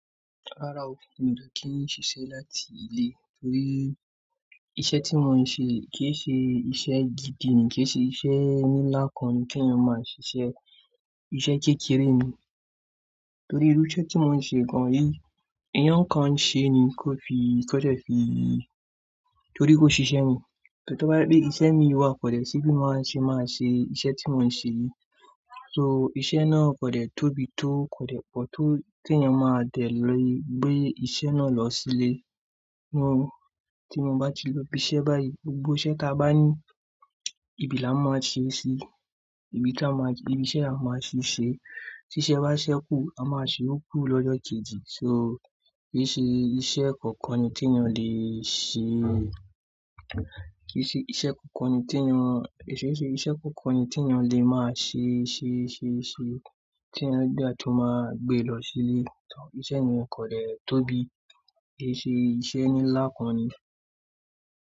Rárá o, mi o de kín ṣiṣẹ́ láti ilé torí iṣẹ́ tí mò ń ṣe kì í ṣe iṣẹ́ gidi ni, kì í ṣe iṣẹ́ nílá kan ni kí ènìyàn máa ṣiṣẹ́. Iṣẹ́ kékeré ni. Torí irú iṣẹ́ tí mò ń ṣe gan-an yìí èèyàn kan ń ṣe ni kó fi, kó jẹ́ fí Torí kó ṣiṣẹ́ ni. Tò bá jẹ pe iṣẹ́ mi wá kò dẹ̀ sí bí máa ṣe máa ṣe iṣẹ́ tí mò ń ṣe yìí. So iṣẹ́ náà kò dẹ̀ tóbi tó, kò dẹ̀ pọ̀ tó tí ènìyàn máa dẹ̀ le gbé iṣẹ́ náà lọ sí ilé. Tí mo bá ti lọ ibi iṣẹ́ báyìí, gbogbo iṣẹ́ tí a bá ní, ibi làá máa ṣe ṣí, ibi tí á máa ṣe, ibi iṣẹ́ làá máa ṣe ṣé. Tí iṣẹ́ bá ṣẹ́ kù, a máa ṣe iyokù lọ́jọ́ kejì. So, kì í ṣe iṣẹ́ kankan ni tí ènìyàn le ṣe. Kì í ṣe iṣẹ́ kankan ni tí ènìyàn, kì í ṣe iṣẹ́ kankan ni tí ènìyàn le máa ṣe ṣe ṣe ṣe tí ènìyàn dé tún máa gbé lọ sí ilé. Iṣẹ́ mi kò dẹ̀ tóbi, kì í ṣe iṣẹ́ nílá kan ni.